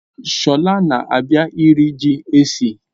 Shola na-abia iri ji esi